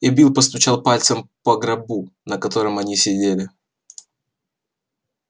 и билл постучал пальцем по гробу на котором они сидели